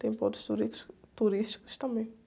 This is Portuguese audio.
Tem pontos turísticos, turísticos também.